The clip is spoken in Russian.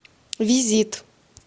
визит